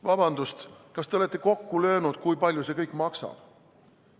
Vabandust, kas te olete kokku löönud, kui palju see kõik maksab?